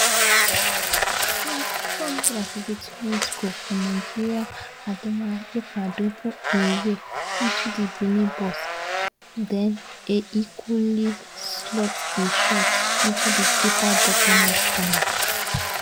452mins goal for nigeriaademola lookman dribble im way into di benin box den e cooly slot e shot into di keeper bottom right corner